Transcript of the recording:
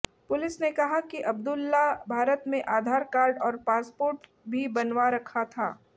police ने कहा कि अब्दुल्लाह भारत में आधार कार्ड और पासपोर्ट भी बनवा रखा था